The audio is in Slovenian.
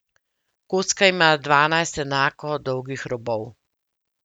Kocka ima dvanajst enako dolgih robov.